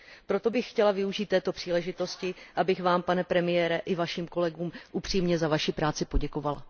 Proto bych chtěla využít této příležitosti, abych Vám, pane premiére, i Vašim kolegům upřímně za Vaši práci poděkovala.